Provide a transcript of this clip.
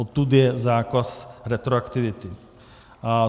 Odtud je zákaz retroaktivity.